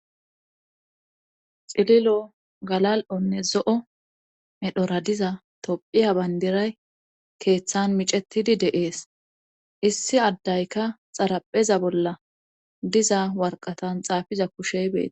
xililo galal7onne zo7o medhora diza tophiya bayndiray keeththan micetidi deees issi addayka xarapheza bolla diza warqatan xaafiza kushey beete